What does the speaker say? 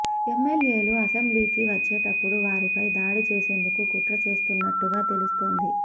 ఎమ్మెల్యేలు అసెంబ్లీకి వచ్చేటప్పుడు వారిపై దాడి చేసేందుకు కుట్ర చేస్తున్నట్టుగా తెలుస్తోంది